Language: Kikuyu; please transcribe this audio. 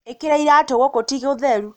ĩkĩra iratũ gũkũ ti gũtheru